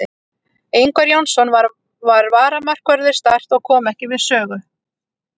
Ingvar Jónsson var varamarkvörður Start og kom ekki við sögu.